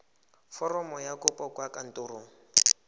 foromo ya kopo kwa kantorong